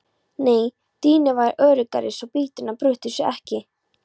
Nei dýnur væru öruggari svo bytturnar brytu sig ekki.